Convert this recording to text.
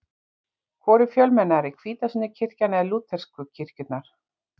Hvor er fjölmennari, hvítasunnukirkjan eða lútersku kirkjurnar?